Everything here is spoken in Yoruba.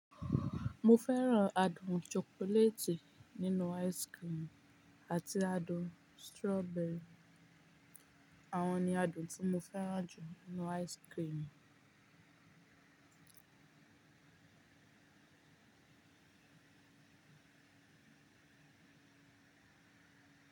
Mo fẹ́ràn adùn chocolate nínú ice cream àti adùn strawberry, àwọn ni adùn tí mo fẹ́ràn jù nínú ice cream.